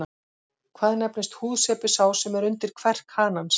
Hvað nefnist húðsepi sá sem er undir kverk hanans?